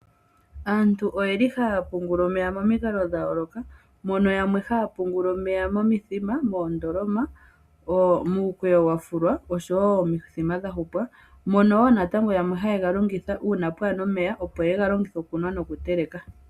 Aantu oyeli haa pungula omeya momikalo dha yooloka mono yamwe haa pungula omeya momithima ,moondoloma, muukweyo wa fulwa oshowo omithima dha hupwa. Mono wo natango yamwe haye ga longitha uuna pwaana omeya opo ye ga longithe okunwa nokuteleka.